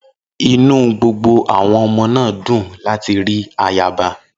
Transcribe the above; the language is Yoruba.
Inú gbogbo àwọn ọmọ náà dùn láti rí ayaba.